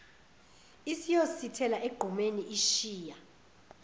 isiyosithela egqumeni ishiya